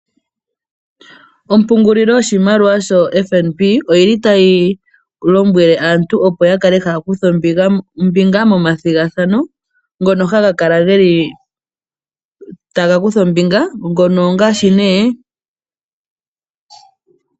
Ompungulilo yoshimaliwa shoFnb oyili tayi lombwele aantu opo yakale taya kutha ombinga momathigathano.